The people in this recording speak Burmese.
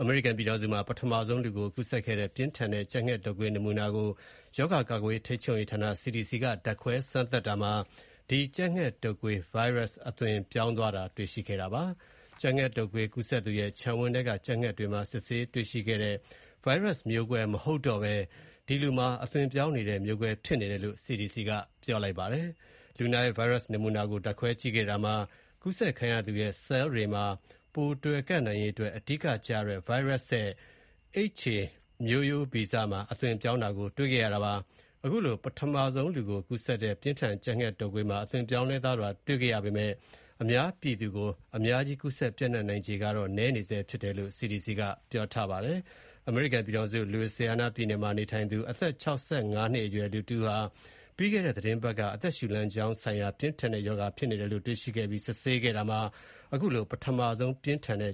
အမေရိကန်ပြည်ထောင်စုမှာ ပထမဆုံး လူကိုကူးစက်တဲ့ ပြင်းထန်တဲ့ ကြက်ငှက်တုပ်ကွေး နမူနာကို ရောဂါ ကာကွယ်ထိန်းချုပ်ရေးဌာန CDC က ဓါတ်ခွဲစမ်းသပ်တာမှာ Virus အသွင်ပြောင်းသွားတာ တွေ့ရှိခဲ့ပါတယ်။ ကြက်ငှက်တုပ်ကွေးကူးစက်သူရဲ့ ခြံဝင်းထဲက ကြက်ငှက်တွေမှာ စစ်ဆေးတွေ့ရှိတဲ့ Virus မျိုးကွဲ မဟုတ်ဘဲ အသွင်ပြောင်းနေတဲ့ မျိုးကွဲဖြစ်နေတယ်လို့ CDC က ပြောပါတယ်။ လူနာရဲ့ Virus နမူနာကို ဓါတ်ခွဲကြည့်ခဲ့တာမှာ ကူးစက်ခံရသူရဲ့ ဆဲလ်တွေမှာတွယ်နိုင်ရေးအတွက် အဓိကကျတဲ့ Virus ရဲ့ HA မျိုးဗီဇမှာ အသွင်ပြောင်းတာ တွေ့ခဲ့ရတာပါ။ အခုလို လူကိုကူးစက်တဲ့ ပြင်းထန် ကြပ်ငှက်တုပ်ကွေးမှာ အသွင်ပြောင်းလဲသွားတာ တွေ့ခဲ့ရပေမဲ့ အများပြည်သူကို ကူးစက် ပျံ့နှံ့နိုင်ခြေကတော့ နည်းနေဆဲ ဖြစ်တယ်လို့ CDC ကပြောပါတယ်။ အမေရိကန်ပြည်ထောင်စု Louisiana ပြည်နယ်မှာ နေထိုင်သူ အသက် ၆၅ နှစ်အရွယ် လူတဦးဟာ ပြီးခဲ့တဲ့ သီတင်းပတ်က အသက်ရှူလမ်းကြောင်းဆိုင်ရာ ပြင်းထန်တဲ့ ရောဂါဖြစ်နေတယ်လို့ တွေ့ခဲ့ ပြီးစစ်ဆေးကြည့်ခဲ့တာမှာ ပထမဆုံး ပြင်းထန်တဲ့